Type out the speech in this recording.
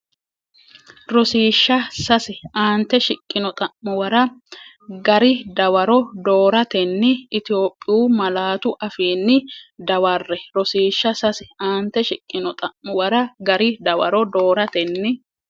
Rosiishsha Sase Aante shiqqino xa’muwara gari dawaro dooratenni Itophiyu malaatu afiinni dawarre Rosiishsha Sase Aante shiqqino xa’muwara gari dawaro dooratenni.